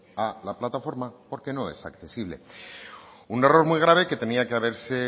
a la plataforma porque no es accesible un error muy grave que tenía que haberse